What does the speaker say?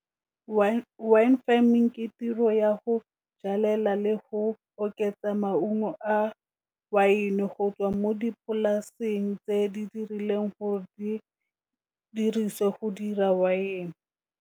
Wine farming ke tiro ya go jalela le go oketsa maungo a wine, go tswa mo dipolaseng tse di dirileng gore di diriswe go dira wine.